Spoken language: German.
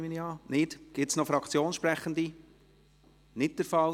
– Das ist nicht der Fall.